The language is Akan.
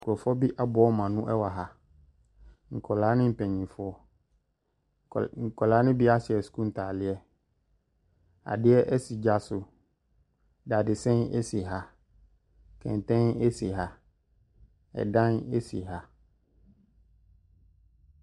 Nkurɔfoɔ bi aboa wɔn ano wɔ ha. Nkwadaa ne mpanimfoɔ. Nkwadaa no bi ahyɛ sukuu ntadeɛ. Adeɛ si gya so. Dadesɛn si ha. Kɛntɛn si ha. Ɛdan si ha.